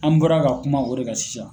An bɔra ka kuma o de ka sisan.